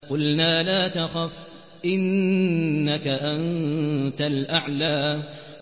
قُلْنَا لَا تَخَفْ إِنَّكَ أَنتَ الْأَعْلَىٰ